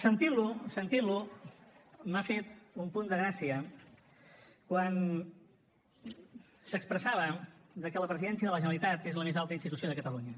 sentint lo m’ha fet un punt de gràcia quan s’expressava que la presidència de la generalitat és la més alta institució de catalunya